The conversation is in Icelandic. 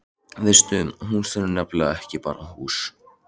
Veistu, hús er nefnilega ekki bara hús.